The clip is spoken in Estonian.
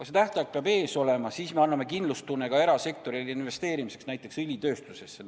Mingi tähtaeg peab silme ees olema, siis me anname kindlustunde ka erasektorile investeerimiseks näiteks õlitööstusesse.